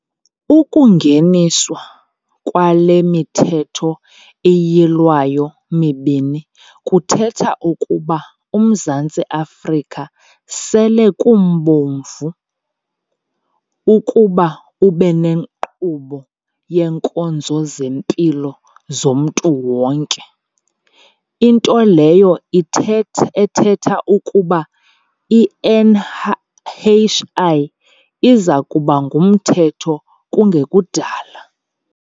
Ukungeniswa kwale miThetho iYilwayo mibini kuthetha ukuba uMzantsi Afrika sele kumbovu ukuba ube nenkqubo yeenkonzo zempilo zomntu wonke, into leyo ithetha ethetha ukuba i-NHI iza kuba ngumthetho kungekudala.